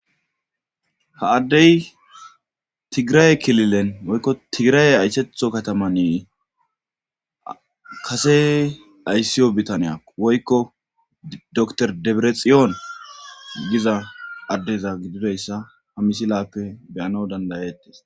ha addey tigiraye kililen woykko tigiraye ayhetho katamane kase ayssiyo bitaniya woykko dr deberexiyoon giza addeza gidideyssa ha misilappe beyana dandayettes